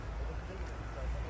O da güc də gəldi.